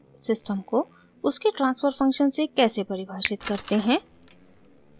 * system को उसके transfer function से कैसे परिभाषित करते हैं